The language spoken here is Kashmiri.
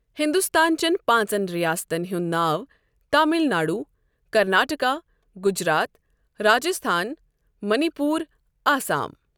ہِندستانچٮ۪ن پانٛژَن رِیاستَن ہنٛد ناو تامِل ناڈو، کَرناٹکا، گُجرات، راجِستھان، منی پوٗر، آسام۔